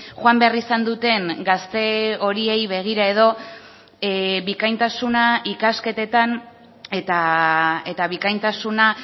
joan behar izan duten gazte horiei begira edo bikaintasuna ikasketetan eta bikaintasuna